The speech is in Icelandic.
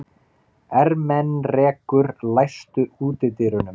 Ermenrekur, læstu útidyrunum.